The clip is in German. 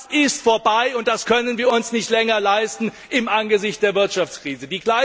Das ist vorbei, und das können wir uns nicht länger leisten im Angesicht der Wirtschaftskrise.